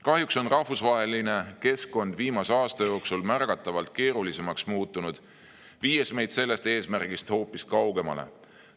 Kahjuks on rahvusvaheline keskkond muutunud viimase aasta jooksul märgatavalt keerulisemaks, viies meid sellest eesmärgist hoopis kaugemale.